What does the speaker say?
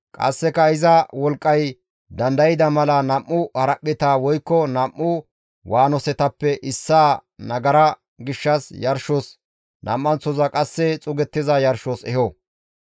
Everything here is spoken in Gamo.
Qasseka iza wolqqay dandayda mala nam7u haraphpheta woykko nam7u waanosetappe issaa nagara gishshas yarshos, nam7anththoza qasse xuugettiza yarshos eho.